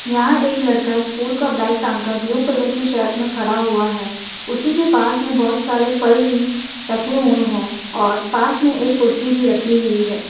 यहाँ एक लड़का स्कूल का बैग टांग कर ब्लू कलर की शर्ट मे खड़ा हुआ है उसी के पास मे बहोत सारे फल भी रखें हुए है और पास में एक कुर्सी भी रखी हुई है।